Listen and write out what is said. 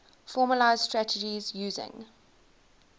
formalised strategies using